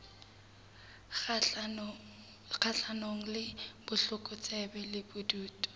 kgahlanong le botlokotsebe le bobodu